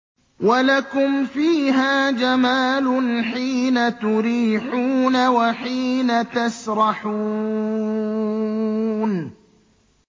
وَلَكُمْ فِيهَا جَمَالٌ حِينَ تُرِيحُونَ وَحِينَ تَسْرَحُونَ